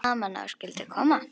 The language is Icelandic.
Gaman að þú skyldir koma.